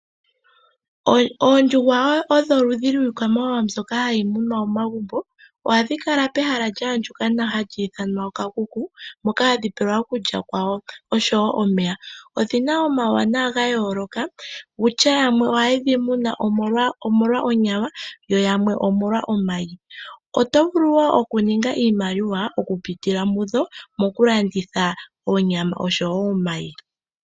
Oondjuhwa odho oludhi lwiikwamawawa hayi munwa momagumbo. Ohayi kala pehala lya andjuka nawa hali ithanwa oshikuku, moka hadhi pelwa okulya kwadho noshowo omeya. Odhi na omauwanwa ga yooloka. Yamwe ohaye dhi munu omolwa onyama yo yamwe omolwa omayi. Oto vulu wo okuninga iimaliwa okupitila mudho mokulanditha onyama noshowo omayi.